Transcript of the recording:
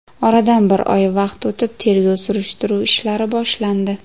Oradan bir oy vaqt o‘tib, tergov-surishtiruv ishlari boshlandi”.